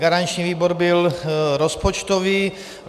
Garanční výbor byl rozpočtový.